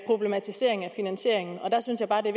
problematisering af finansieringen og der synes jeg bare det